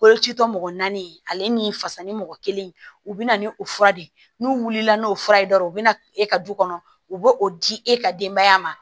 Boloci tɔ mɔgɔ naani ale ni fasa ni mɔgɔ kelen u bɛ na ni o fura de ye n'u wulila n'o fura ye dɔrɔn u bɛ na e ka du kɔnɔ u bɛ o di e ka denbaya ma